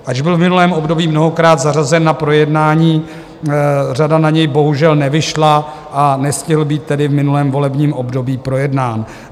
Ač byl v minulém období mnohokrát zařazen na projednání, řada na něj bohužel nevyšla, a nestihl být tedy v minulém volebním období projednán.